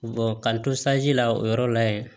ka n to la o yɔrɔ la ye